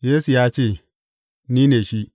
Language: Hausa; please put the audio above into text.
Yesu ya ce, Ni ne shi.